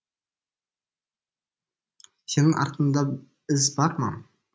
сенің артыңда із бар ма